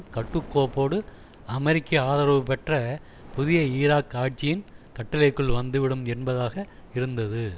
கட்டுக்கோப்போடு அமெரிக்க ஆதரவுபெற்ற புதிய ஈராக் ஆட்சியின் கட்டளைக்குள் வந்துவிடும் என்பதாக இருந்தது